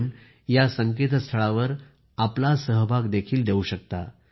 आपण या संस्थळावर आपला सहभाग देखील द्या